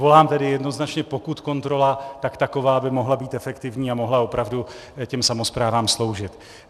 Volám tedy jednoznačně - pokud kontrola, tak taková, aby mohla být efektivní a mohla opravdu těm samosprávám sloužit.